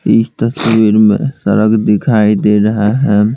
इस तस्वीर में सड़क दिखाई दे रहा है।